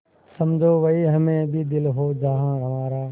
समझो वहीं हमें भी दिल हो जहाँ हमारा